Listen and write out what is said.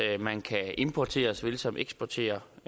at man kan importere såvel som eksportere